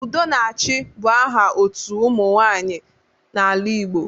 Udonachị bụ aha otu ụmụ nwaanyị n'ala Igbo